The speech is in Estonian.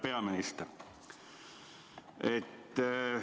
Hea peaminister!